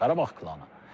Qarabağ klanı.